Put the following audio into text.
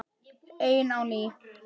Ein á ný.